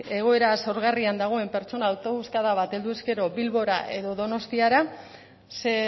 egoera xahugarrian dagoen pertsona autobuskada bat helduz gero bilbora edo donostiara ze